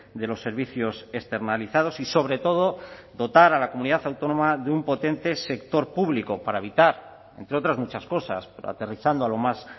de los servicios externalizados y sobre todo dotar a la comunidad autónoma de un potente sector público para evitar entre otras muchas cosas pero aterrizando a lo más